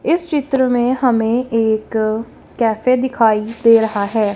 इस चित्र में हमें एक कैफे दिखाई दे रहा है।